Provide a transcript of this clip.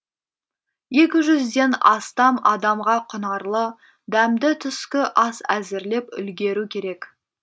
екі жүзден астам адамға құнарлы дәмді түскі ас әзірлеп үлгеру керек